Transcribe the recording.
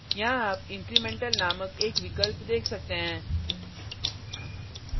यहाँ आप incremental incremental नामक एक विकल्प देख सकते हैं